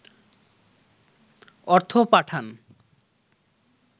অর্থ পাঠান